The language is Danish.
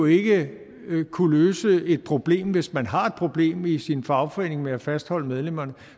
ikke vil kunne løse det problem hvis man har et problem i sin fagforening med at fastholde medlemmerne